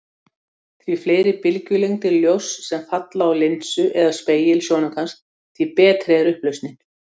Því fleiri bylgjulengdir ljóss sem falla á linsu eða spegil sjónaukans, því betri er upplausnin.